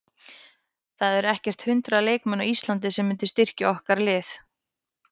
Það eru ekkert hundrað leikmenn á Íslandi sem myndu styrkja okkar lið.